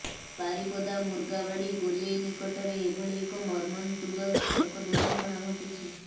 ବାରିପଦା ମୁର୍ଗାବାଡ଼ି ଗୋଲେଇ ନିକଟରେ ଏଭଳି ଏକ ମର୍ମନ୍ତୁଦ ସଡ଼କ ଦୁର୍ଘଟଣା ଘଟିଛି